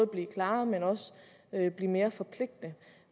blive klarere men også mere forpligtende